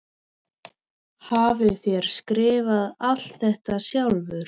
Hafið þér skrifað allt þetta sjálfur?